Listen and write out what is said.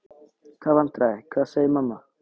Hvaða vandræði, hvað segir mamma?